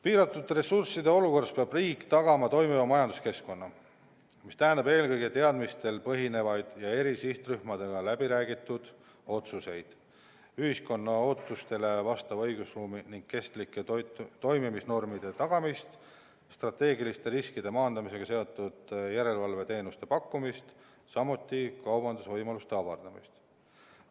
Piiratud ressursside olukorras peab riik tagama toimiva majanduskeskkonna, mis tähendab eelkõige teadmistel põhinevaid ja eri sihtrühmadega läbi räägitud otsuseid, ühiskonna ootustele vastava õigusruumi ning kestlike toimimisnormide tagamist, strateegiliste riskide maandamisega seotud järelevalveteenuste pakkumist, samuti kaubandusvõimaluste avardamist.